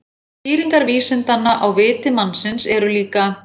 skýringar vísindanna á „viti“ mannsins eru líka